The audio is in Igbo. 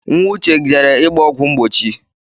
Nwa uche jere ịgba ọgwụ mgbochi